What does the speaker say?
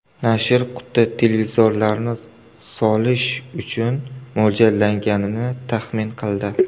Nashr quti televizorlarni solish uchun mo‘ljallanganini taxmin qildi.